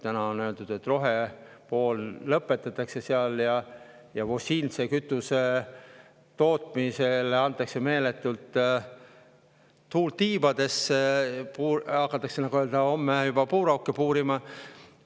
Täna on öeldud, et rohe seal lõpetatakse ja fossiilse kütuse tootmisele antakse meeletult tuult tiibadesse, hakatakse nii-öelda juba homme puurauke puurima.